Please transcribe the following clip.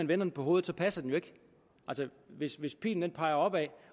vender den på hovedet passer den jo ikke hvis hvis pilen peger opad